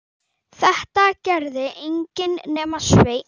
Þetta gerði enginn nema Sveinn.